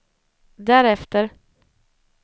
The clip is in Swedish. därefter